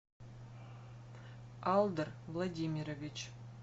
алдар владимирович